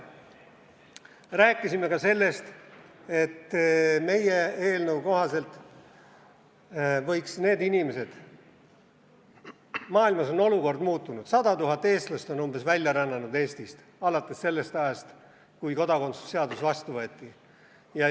Rääkisime ka sellest, et maailmas on olukord muutunud, umbes 100 000 eestlast on Eestist välja rännanud alates sellest ajast, kui kodakondsuse seadus vastu võeti.